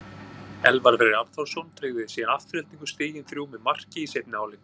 Elvar Freyr Arnþórsson tryggði síðan Aftureldingu stigin þrjú með marki í seinni hálfleik.